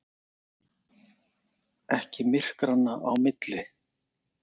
Ekki myrkranna á milli.